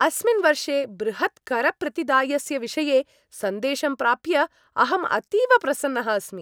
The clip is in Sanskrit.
अस्मिन् वर्षे बृहत् करप्रतिदायस्य विषये सन्देशं प्राप्य अहम् अतीव प्रसन्नः अस्मि।